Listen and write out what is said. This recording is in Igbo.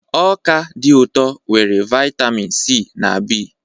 Ọka dị ụtọ nwere vitamin C na B.